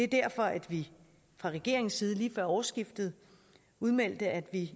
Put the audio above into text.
derfor at vi fra regeringens side lige før årsskiftet udmeldte at vi